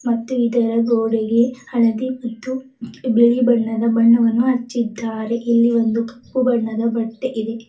ಮತ್ತು ಇದರ ಗೋಡೆಗೆ ಹಳದಿ ಮತ್ತು ಬಿಳಿ ಬಣ್ಣದ ಬಣ್ಣವನ್ನು ಹಚ್ಚಿದ್ದಾರೆ ಇಲ್ಲಿ ಒಂದು ಕಪ್ಪು ಬಣ್ಣದ ಬಟ್ಟೆ ಇದೆ.